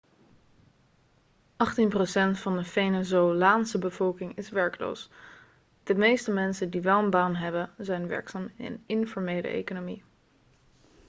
achttien procent van de venezolaanse bevolking is werkloos de meeste mensen die wel een baan hebben zijn werkzaam in de informele economie